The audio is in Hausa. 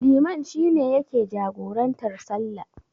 Liman shi ne yake jagorantar sallah.